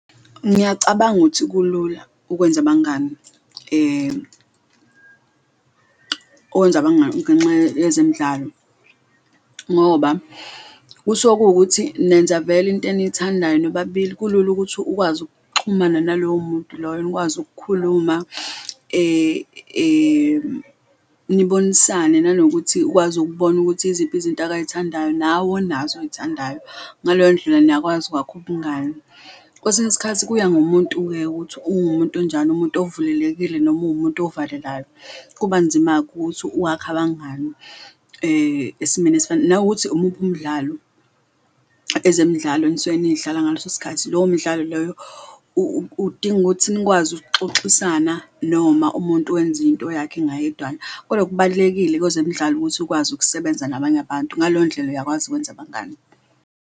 Ngiyacabanga ukuthi kulula ukwenza abangani okwenza abangani ngenxa yezemidlalo ngoba kuse kuwukuthi nenza vele into eniyithandayo nobabili, kulula ukuthi ukwazi ukuxhumana nalowo muntu loyo nikwazi ukukhuluma, nibonisane. Nanokuthi ukwazi ukubona ukuthi iziphi izinto akayithandayo nawe onazo oyithandayo, ngaleyo ndlela niyakwazi ukwakha ubungani. Kwesinye isikhathi kuya ngumuntu-ke ukuthi uwumuntu onjani, umuntu ovulelekile noma uwumuntu ovalelayo, kuba nzima-ke ukuthi uwakhe abangani, esimeni esifana nawukuthi umuphi umdlalo ezemidlalo enisuke niyidlala ngaleso sikhathi. Lowo mdlalo loyo udinga ukuthi nikwazi ukuxoxisana noma umuntu wenza into yakhe ngayedwana, kodwa okubalulekile kwezemidlalo ukuthi ukwazi ukusebenza nabanye abantu, ngaleyo ndlela uyakwazi ukwenza abangani.